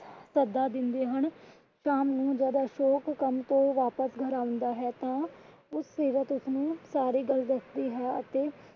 ਸੱਦਾ ਦਿੰਦੇ ਹਨ। ਸ਼ਾਮ ਨੂੰ ਜੱਦ ਅਸ਼ੋਕ ਕੰਮ ਤੋਂ ਵਾਪਿਸ ਘਰ ਆਂਦਾ ਹੈ ਤਾਂ ਸੀਰਤ ਉਸਨੂੰ ਸਾਰੀ ਗੱਲ ਦਸਦੀ ਹੈ ਅਤੇ,